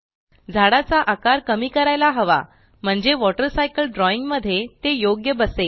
झाडाचा आकार कमी करायला हवा म्हणजे वॉटर सायकल ड्रॉइंग मध्ये ते योग्य बसेल